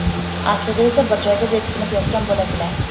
Aslida esa bir joyda depsinib yotgan bo‘ladilar.